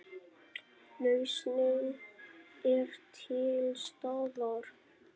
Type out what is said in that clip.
Lausnin er til staðar.